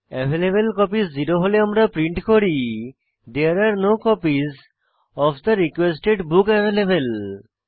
available copies 0 হলে আমরা print করি there are no copies of the requested book available